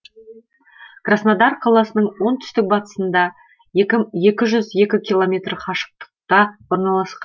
краснодар қаласының оңтүстік батысында екі жүз екі километр қашықтықта орналасқан